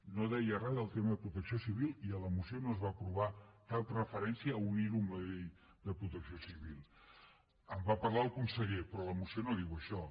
no deia res del tema de protecció civil i a la moció no es va aprovar cap referència a unir·ho amb la llei de protecció civil en va parlar el conseller pe·rò la moció no diu això